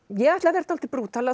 ég ætla að vera dálítið brútal